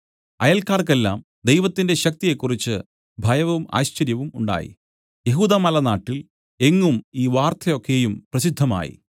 അയൽക്കാർക്കെല്ലാം ദൈവത്തിന്റെ ശക്തിയെക്കുറിച്ച് ഭയവും ആശ്ചര്യവും ഉണ്ടായി യെഹൂദ്യമലനാട്ടിൽ എങ്ങും ഈ വാർത്ത ഒക്കെയും പ്രസിദ്ധമായി